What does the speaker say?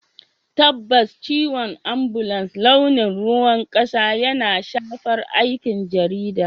Tabbas, ciwon ambulan launin ruwan kasa yana shafar aikin jarida.